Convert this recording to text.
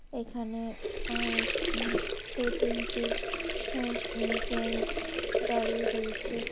এইখানে অ্যা উম দুটো তিনটে অ্যা জেন্স দাঁড়িয়ে রয়েছে ।